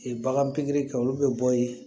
bagan pikiri kɛ olu bɛ bɔ yen